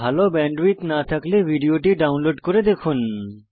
ভাল ব্যান্ডউইডথ না থাকলে ভিডিও টি ডাউনলোড করে দেখুন